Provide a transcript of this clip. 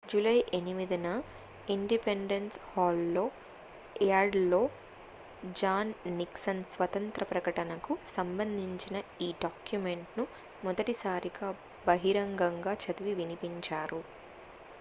July 8న independence hall యార్డ్లో John Nixon స్వాతంత్ర ప్రకటనకు సంబంధించిన ఈ డాక్యుమెంట్ను మొదటిసారిగా బహిరంగంగా చదివి వినిపించారు